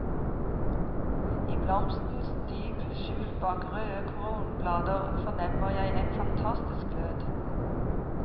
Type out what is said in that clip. I blomstens dyp, skjult bak røde kronblader, fornemmer jeg en fantastisk glød.